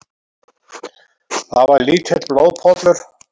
Það var lítill blóðpollur.